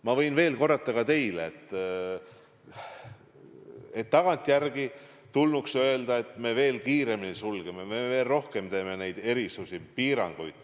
Ma võin veel korrata ka teile, et tagantjärele tarkusena me teame, et tulnuks veel kiiremini sulgeda, veel rohkem kehtestada piiranguid.